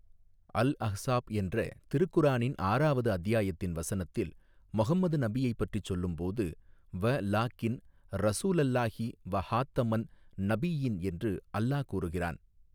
அல் Ahzab என்ற திருக்குரானின் ஆறாவது அத்தியாயத்தின் வசனத்தில், முஹம்மது நபியைப் பற்றிச் சொல்லும்போது, வ லா கின் ரஸூலல்லாஹி வஹாத்தமன் நபிய்யீன் என்று அல்லா கூறுகிறான்.